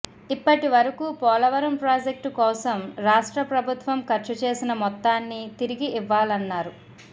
ఇప్పటి వరకు పోలవరం ప్రాజెక్టు కోసం రాష్ట్ర ప్రభుత్వం ఖర్చు చేసిన మొత్తాన్ని తిరిగి ఇవ్వాలన్నారు